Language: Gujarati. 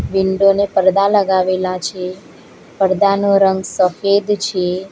વિન્ડોને પડદા લગાવેલા છે પડદાનો રંગ સફેદ છે.